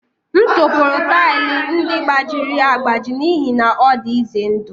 M tụpụrụ taịlị ndị gbajiri agbaji n'ihi na ọ dị ize ndụ